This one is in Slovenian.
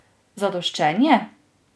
Zadoščenje?